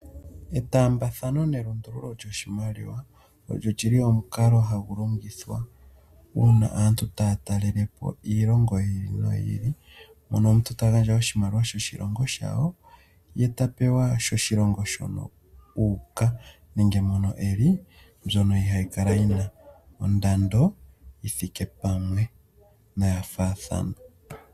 Etaambathano nelundululo lyoshimaliwa, olyo li li omukalo hagu longithwa uuna aantu taya talelepo iilongo yi ili noyi ili. Mpono omuntu ta gandja oshimaliwa sho shilongo shawo, ye tapewa sho shilongo shono uuka. Nenge mono e li mbyono ihayi kala yina ondando yi thike pamwe noya faathana.